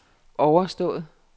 overstået